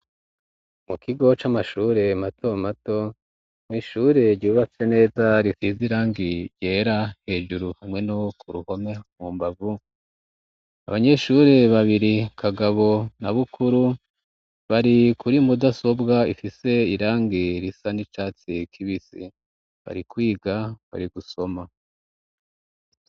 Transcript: Mu kigo c'amashure mato mato mwishure ryubatse neza rifize irangi ryera hejuru hamwe no ku ruhome mu mbavu abanyeshure babiri kagabo na bukuru bari kuri mudasobwa ifise irangi risa n'icatsi kibisi ikwiga bari gusoma.